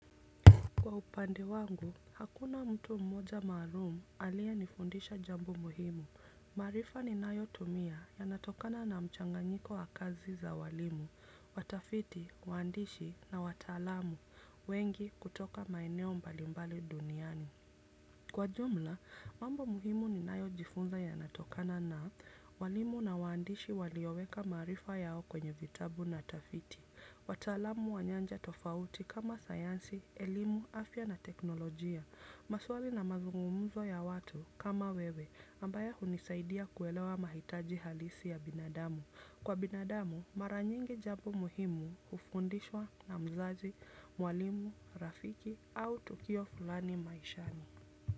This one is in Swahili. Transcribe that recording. Kwa upande wangu, hakuna mtu mmoja maalum aliye nifundisha jambo muhimu. Maarifa ni nayo tumia ya natokana na mchanganyiko wa kazi za walimu, watafiti, waandishi na wataalamu, wengi kutoka maeneo mbalimbali duniani. Kwa jumla, mambo muhimu ni nayo jifunza ya natokana na walimu na waandishi walioweka maarifa yao kwenye vitabu na tafiti. Wataalamu wa nyanja tofauti kama sayansi, elimu, afya na teknolojia. Maswali na mazungumzo ya watu kama wewe ambayo hunisaidia kuelewa mahitaji halisi ya binadamu. Kwa binadamu mara nyingi jambo muhimu hufundishwa na mzazi, mwalimu, rafiki au tukio fulani maishani.